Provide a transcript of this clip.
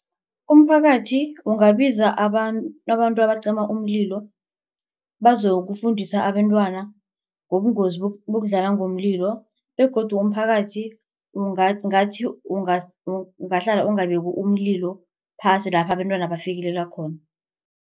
Umphakathi ungabiza abantu abantu abacima umlilo bazokufundisa abantwana ngobungozi bokudlala ngomlilo begodu umphakathi ungathi ungahlala ungabeki umlilo phasi lapha abantwana bafikelela khona.